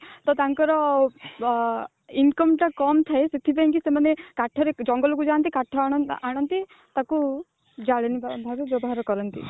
ତ ତାଙ୍କର ବ income ଟା କମ ଥାଏ ସେଥିପାଇଁ କି ସେମାନେ କାଠ ରେ ଜଙ୍ଗଲ କୁ ଯାଆନ୍ତି କାଠ ଆଣନ୍ତି ତାକୁ ଜାଳେଣୀ ଭାବେ ବ୍ୟବହାର କରନ୍ତି